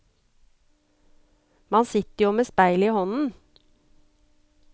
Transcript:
Man sitter jo med speilet i hånden.